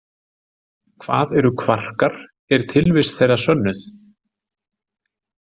Hvað eru kvarkar, er tilvist þeirra sönnuð?